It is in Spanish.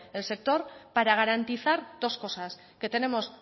el sector para garantizar dos cosas que tenemos